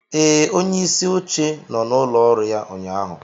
Ee, onyeisi oche nọ n'ụlọ ọrụ ya ụnyahụ